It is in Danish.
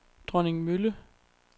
Dronningmølle